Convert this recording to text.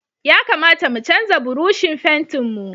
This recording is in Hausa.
Ya kamata mu canza Burushin fentin mu.